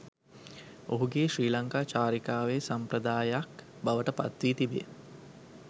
ඔහුගේ ශ්‍රී ලංකා චාරිකාවේ සම්ප්‍රදායයක් බවට පත් වී තිබේ